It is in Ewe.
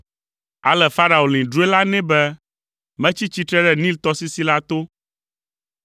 Ale Farao lĩ drɔ̃e la nɛ be, “Metsi tsitre ɖe Nil tɔsisi la to;